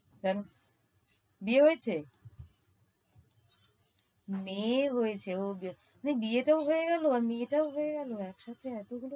Run~ বিয়ে হয়েছে? মেয়ে হয়েছে ওইসে~ বিয়েটাও হয়ে গেলো মেয়েটাও হয়ে গেলো একসাথে এতগুলো